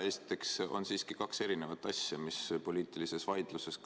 Esiteks on siiski kaks erinevat asja, mis poliitilises vaidluses on.